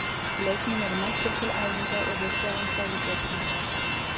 Leikmenn eru mættir til æfinga og við sjáum hvað við getum gert.